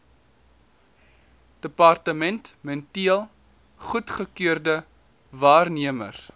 departementeel goedgekeurde waarnemers